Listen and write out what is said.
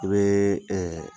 I bɛ